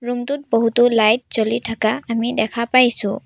Room টোত বহুতো light জ্বলি থাকা আমি দেখা পাইছোঁ।